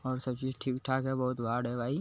और सब चीज ठीक -ठाक है बहोत है भाई --